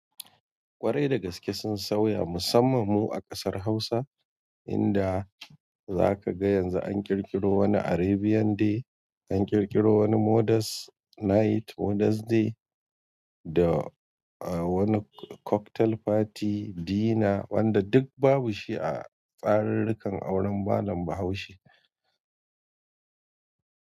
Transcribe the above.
Ƙwarai da gaske sun sauya musamman mu a ƙasar Hausa, inda za ka ga yanzu an ƙirƙiro wani Arabian day, an ƙirƙiro wani modest night, modest day da wani cocktail party dinner wanda duk babu shi a tsararrukan auren malam Bahaushe.